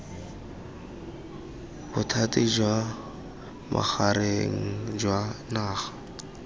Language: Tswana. bothati jwa bogareng jwa naga